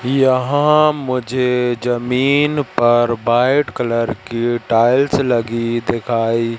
यहां मुझे जमीन पर वाइट कलर की टाइल्स लगी दिखाई--